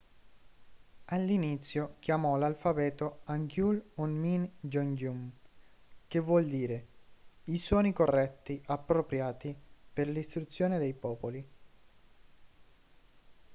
all'inizio chiamò l'alfabeto hangeul hunmin jeongeum che vuol dire i suoni corretti/appropriati per l'istruzione dei popoli